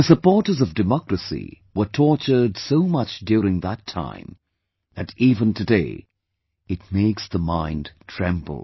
The supporters of democracy were tortured so much during that time, that even today, it makes the mind tremble